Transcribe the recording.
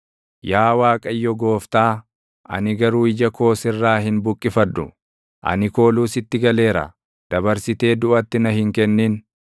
Yaa Waaqayyo Gooftaa, ani garuu ija koo sirraa hin buqqifadhu; ani kooluu sitti galeera; dabarsitee duʼatti na hin kennin.